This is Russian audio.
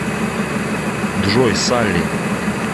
джой салли